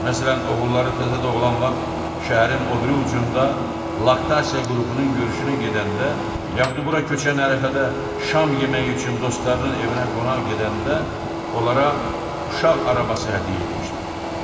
Məsələn, oğulları təzə doğulan vaxt, şəhərin o biri ucunda laktasiya qrupunun görüşünə gedəndə, yaxud bura köçən ərəfədə şam yeməyi üçün dostlarının evinə qonaq gedəndə onlara uşaq arabası hədiyyə etmişdilər.